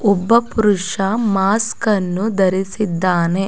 ಒಬ್ಬ ಪುರುಷ ಮಾಸ್ಕನ್ನು ಧರಿಸಿದ್ದಾನೆ.